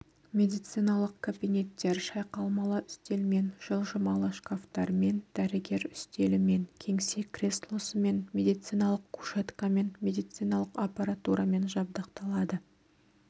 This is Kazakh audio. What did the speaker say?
медициналық кабинеттер шалқаймалы үстелмен жылжымалы шкафтармен дәрігер үстелімен кеңсе креслосымен медициналық кушеткамен медициналық аппаратурамен жабдықталады